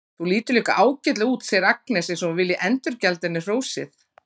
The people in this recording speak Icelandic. Þú lítur líka ágætlega út, segir Agnes eins og hún vilji endurgjalda henni hrósið.